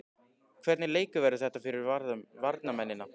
Hvernig leikur verður þetta fyrir varnarmennina?